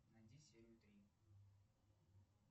найди серию три